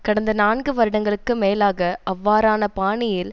கடந்த நான்கு வருடங்களுக்கு மேலாக அவ்வாறான பாணியில்